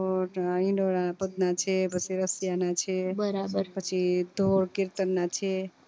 અ છે પછી છે બરાબર પછી ધોર કીર્તન ના છે